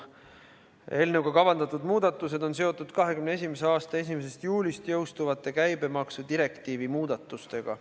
Eelnõuga kavandatud muudatused on seotud 2021. aasta 1. juulist jõustuvate käibemaksudirektiivi muudatustega.